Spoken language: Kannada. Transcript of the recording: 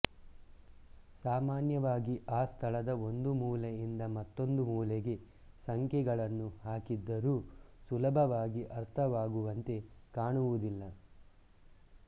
ಸಾಮಾನ್ಯವಾಗಿ ಆ ಸ್ಥಳದ ಒಂದು ಮೂಲೆಯಿಂದ ಮತ್ತೊಂದು ಮೂಲೆಗೆ ಸಂಖ್ಯೆಗಳನ್ನು ಹಾಕಿದ್ದರೂ ಸುಲಭವಾಗಿ ಅರ್ಥವಾಗುವಂತೆ ಕಾಣುವುದಿಲ್ಲ